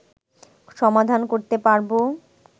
সমাধান করতে পারবো